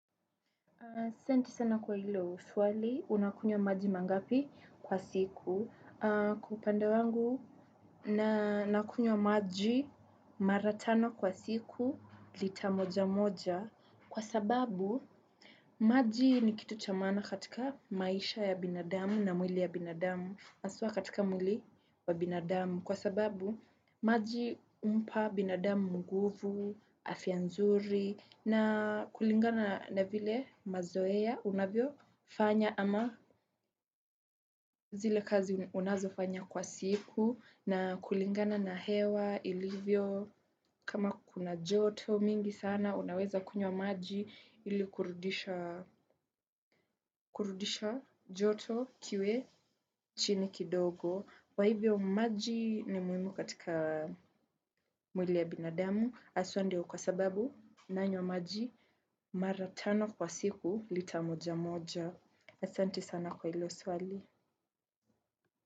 Asante sana kwa hilo swali, unakunywa maji mara ngapi kwa siku. Kwa upande wangu nakunya maji mara tano kwa siku lita moja moja. Kwa sababu, maji ni kitu cha maana katika maisha ya binadamu na mwili ya binadamu. Haswa katika mwili wa binadamu. Kwa sababu, maji humpa binadamu nguvu, afya nzuri. Na kulingana na vile mazoea unavyofanya ama zile kazi unazofanya kwa siku na kulingana na hewa ilivyo kama kuna joto mingi sana unaweza kunywa maji ili kurudisha joto kiwe chini kidogo. Kwa hivyo maji ni muhimu katika mwili ya binadamu, haswa ndio kwa sababu nanywa maji mara tano kwa siku lita moja moja. Asante sana kwa hilo swali.